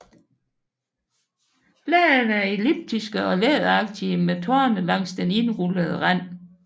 Bladene er elliptiske og læderagtige med torne langs den indrullede rand